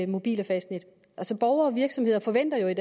mobil og fastnet borgere og virksomheder forventer jo i